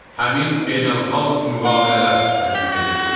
Həmin beynəlxalq müqavilələr tətbiq edilir.